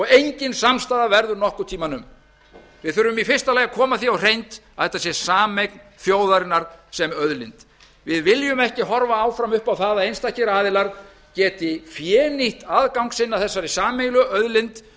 engin samstaða verður nokkuð tíma um við þurfum í fyrsta lagi að koma því á hreint að þetta sé sameign þjóðarinnar sem auðlind við viljum ekki horfa áfram upp á það að einstakir aðilar geti fénýtt aðgang sinn að þessari sameiginlegu auðlind